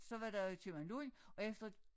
Så var der købmand Lund og efter